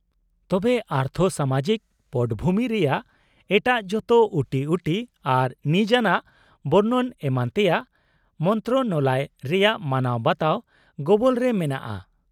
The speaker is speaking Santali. -ᱛᱚᱵᱮ ᱟᱨᱛᱷᱚᱼᱥᱟᱢᱟᱡᱤᱠ ᱯᱚᱴᱚᱵᱷᱩᱢᱤ ᱨᱮᱭᱟᱜ ᱮᱴᱟᱜ ᱡᱚᱛᱚ ᱩᱴᱤᱩᱴᱤ ᱟᱨ ᱱᱤᱡᱟᱱᱟᱜ ᱵᱚᱨᱱᱚᱱ ᱮᱢᱟᱱ ᱛᱮᱭᱟᱜ ᱢᱚᱱᱛᱨᱚᱱᱟᱞᱚᱭ ᱨᱮᱭᱟᱜ ᱢᱟᱱᱟᱣ ᱵᱟᱛᱟᱣ ᱜᱚᱵᱚᱞ ᱨᱮ ᱢᱮᱱᱟᱜᱼᱟ ᱾